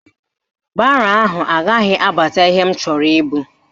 Baro ahụ agaghị abata ihe m chọrọ ibu